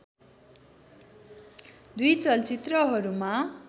दुई चलचित्रहरूमा